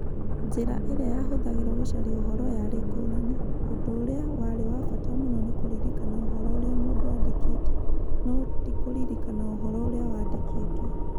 Njĩra ĩrĩa yahũthagĩrũo gũcaria ũhoro yarĩ ngũrani. Ũndũ ũrĩa warĩ wa bata mũno nĩ kũririkana ũhoro ũrĩa mũndũ aandĩkĩte, no ti kũririkana ũhoro ũrĩa wandĩkĩtwo.